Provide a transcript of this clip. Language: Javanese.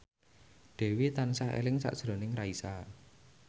Dewi tansah eling sakjroning Raisa